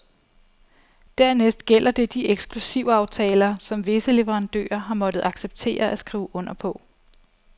Dernæst gælder det de eksklusivaftaler, som visse leverandører har måtte acceptere at skrive under på.